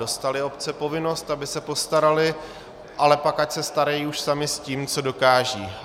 Dostaly obce povinnost, aby se postaraly, ale pak ať se starají už samy s tím, co dokážou.